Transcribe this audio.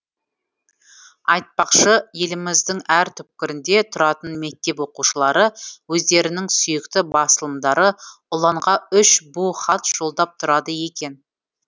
айтпақшы еліміздің әр түкпірінде тұратын мектеп оқушылары өздерінің сүйікті басылымдары ұланға үш бу хат жолдап тұрады екен